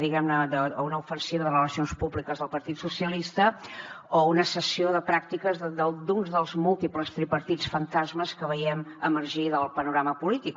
diguem ne a una ofensiva de relacions públiques del partit socialista o a una sessió de pràctiques d’un dels múltiples tripartits fantasmes que veiem emergir del panorama polític